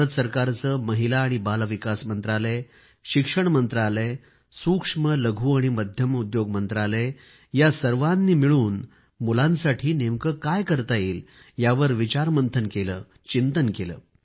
भारत सरकारचे महिला आणि बाल विकास मंत्रालय शिक्षण मंत्रालय सूक्ष्मलघु आणि मध्यम उद्योग मंत्रालय या सर्वांच्या सहकार्याने मिळून आम्ही मुलांसाठी नेमके काय करता येईल यावर विचार मंथन केले चिंतन केले